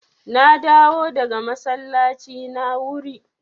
Na dawo daga masallaci na wuri.